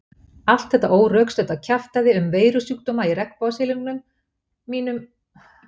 Allt þetta órökstudda kjaftæði um veirusjúkdóma í regnbogasilungnum mínum olli mér óbætanlegu tjóni.